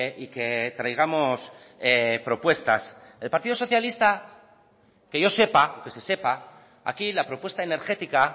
y que traigamos propuestas el partido socialista que yo sepa que se sepa aquí la propuesta energética